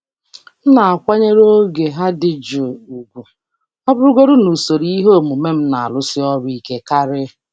M na-akwanyere oge ha dị jụụ ùgwù, ọ bụrụgodị na usoro ihe omume m na-arụsi ọrụ ike karị.